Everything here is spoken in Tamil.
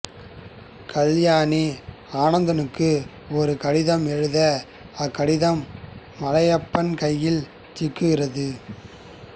கல்யாணி ஆனந்தனுக்கு ஒரு கடிதம் எழுத அக்கடிதம் மலையப்பன் கையில் சிக்குகிறது